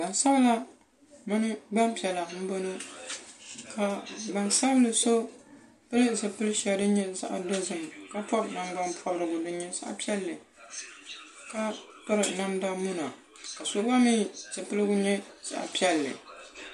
Gban sabila mini gban piɛla m bɔno ka gnan sabinli so pil zipil sheli din nye zaɣ' dozim ka pobi naŋ gban poborigu din nye zaɣ' poɛlli ka piri namda muna ka so gba mi zipilgu gba nye zaɣ' pielli.